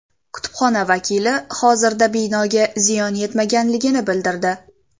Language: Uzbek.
Kutubxona vakili hozirda binoga ziyon yetmaganligini bildirdi.